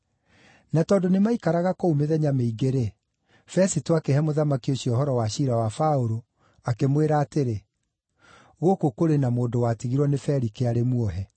Na tondũ nĩmaikaraga kũu mĩthenya mĩingĩ-rĩ, Fesito akĩhe mũthamaki ũcio ũhoro wa ciira wa Paũlũ, akĩmwĩra atĩrĩ, “Gũkũ kũrĩ na mũndũ watigirwo nĩ Felike arĩ muohe.